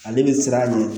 Ale bɛ siran a ɲɛ